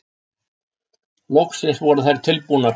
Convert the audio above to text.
Loksins voru þær tilbúnar.